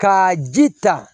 Ka ji ta